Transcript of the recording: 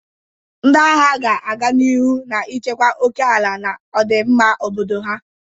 Ndị agha ga-aga n'ihu na-echekwa oke ala na ọdịmma obodo ha.